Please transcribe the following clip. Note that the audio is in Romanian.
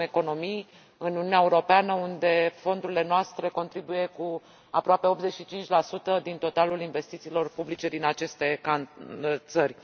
Avem economii în Uniunea Europeană, unde fondurile noastre contribuie cu aproape 85 din totalul investițiilor publice din aceste țări.